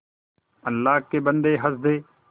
अल्लाह के बन्दे हंस दे